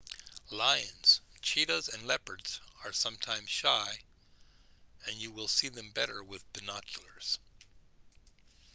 lions cheetahs and leopards are sometimes shy and you will see them better with binoculars